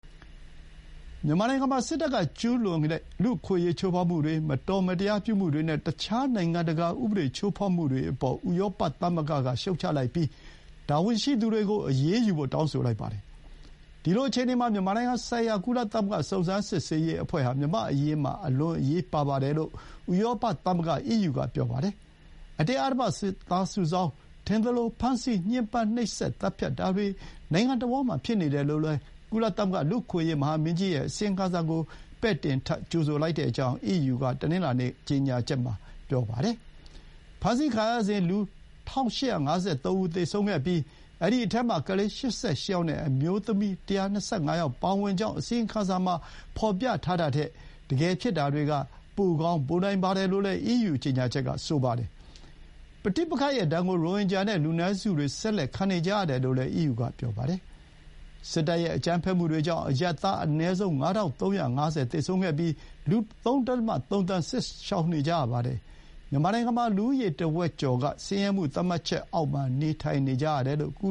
မြန်မာနိုင်ငံမှာ စစ်တပ်ကကျူးလွန်တဲ့ လူ့အခွင့်အရေးချိုးဖောက်မှုတွေ၊ မတော်မတရားပြုမှုတွေနဲ့ အခြားနိုင်ငံတကာဥပဒေ ချိုးဖောက်မှုတွေအပေါ် ဥရောပသမဂ္ဂက ရှုတ်ချလိုက်ပြီး တာဝန်ရှိသူတွေကိုအရေးယူဖို့ တောင်းဆိုလိုက်ပါတယ်။ ဒီလိုအခြေအနေမှာ မြန်မာနိုင်ငံဆိုင်ရာ ကုလသမဂ္ဂ စုံစမ်းစစ်ဆေးရေးအဖွဲ့ဟာ မြန်မာ့အရေးမှာ အလွန်အရေးပါတယ်လို့ ဥရောပသမဂ္ဂအီးယူက ပြောပါတယ်။ အတင်းအဓမ္မ စစ်သားစုဆောင်း၊ ထင်သလိုဖမ်းဆီး၊ ညှဥ်းပန်းနှိပ်စက် သတ်ဖြတ်တာတွေ နိုင်ငံတဝှမ်းမှာဖြစ်နေတယ်လို့လည်း ကုလ လူ့အခွင့်အရေး မဟာမင်းကြီးရဲ့ အစီရင်ခံစာကို ပဲ့တင်ထပ်၊ ကြိုဆိုကြောင်း အီးယူက တနင်္လာနေ့က ကျေညာချက်ထုတ်ခဲ့တာပါ။ ဖမ်းဆီးခံရစဥ် လူ ၁,၈၅၃ ဦး သေဆုံးခဲ့ပြီး အဲဒီအထဲမှာ ကလေး ၈၈ ယောက်နဲ့ အမျိုးသမီး ၁၂၅ယောက်ပါဝင်ကြောင်း အစီရင်ခံစာမှာ ဖော်ပြထားတာထက် တကယ်ဖြစ်တာတွေက ပိုကောင်းပိုနိုင်ပါတယ်လို့ အီးယူကြေညာချက်က ဆိုပါတယ်။ ပဋိပက္ခရဲ့ဒဏ်ကို ရိုဟင်ဂျာနဲ့ လူနည်းစုတွေ ဆက်လက် ခံနေကြရတယ်လို့လည်း အီးယူကပြောပါတယ်။ စစ်တပ်ရဲ့ အကြမ်းဖက်မှုတွေကြောင့် အရပ်သားအနည်းဆုံး ၅,၃၅၀ သေဆုံးခဲ့ပြီး လူ ၃.၃ သန်း စစ်ရှောင်နေကြရပါတယ်။ မြန်မာနိုင်ငံမှာ လူဦးရေ တဝက်ကျော်က ဆင်းရဲမှု သတ်မှတ်ချက်အောက်မှာ နေထိုင်နေကြရတယ်လို့ကု